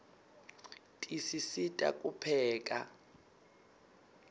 tisisita kupheka